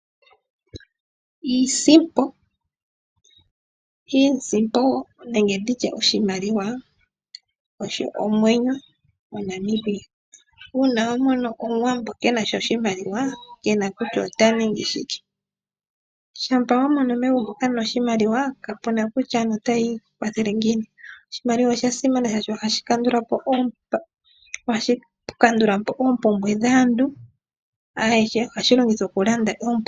Iisimpo Iisimpo nenge oshimaliwa, osho omwenyo moNamibia. Uuna wa mona Omuwambo ke na sha oshimaliwa moNamibia ke na kutya ota ningi shike. Shampa wa mono megumbo kaamu na oshimaliwa, kapu na kutya aantu otayi ikwathele ngiini. Oshimaliwa ohashi kandula po oompumbwe dhaantu ayehe. Ohashi longithwa okulanda oompumbwe dhaantu.